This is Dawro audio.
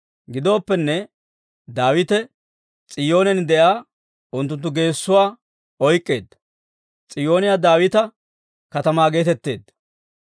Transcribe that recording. Gidooppenne, Daawite S'iyoonen de'iyaa unttunttu geessuwaa oyk'k'eedda; S'iyoone Daawita Katamaa geetetteedda.